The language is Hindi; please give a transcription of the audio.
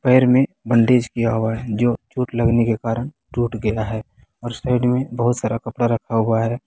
पैर में बैंडेज किया हुआ है जो चोट लगने के कारण टूट गया है और साइड में बहुत सारा कपड़ा रखा हुआ है।